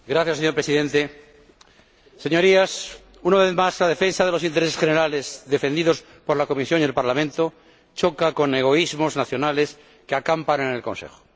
Señor Presidente, Señorías, una vez más la defensa de los intereses generales por la Comisión y el Parlamento choca con egoísmos nacionales que acampan en el Consejo.